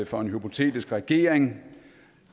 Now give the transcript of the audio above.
for en hypotetisk regering